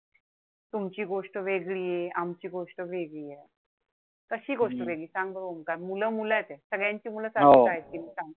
तुमची गोष्ट वेगळीये. आमची गोष्ट वेगळीये. कशी गोष्ट वेगळी आहे सांग बघू. मुलं मुलचं आहे. सगळ्यांची सारखीच आहेत कि नाई सांग?